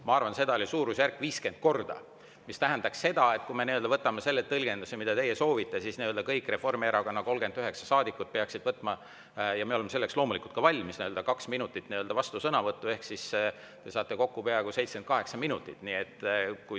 Ma arvan, et seda tehti suurusjärgus viiskümmend korda, mis tähendab seda, et kui me võtame selle tõlgenduse, mida teie soovite, siis kõik Reformierakonna 39 saadikut peaksid võtma – ja me oleme selleks loomulikult ka valmis – kaks minutit vastusõnavõtuks ehk kokku oleks see peaaegu 78 minutit.